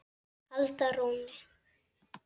halda rónni.